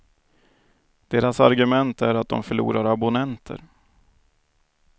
Deras argument är att dom förlorar abonnenter.